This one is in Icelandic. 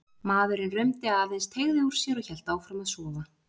Maðurinn rumdi aðeins, teygði úr sér og hélt áfram að sofa.